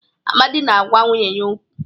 Amadi na-agwa nwunye ya okwu.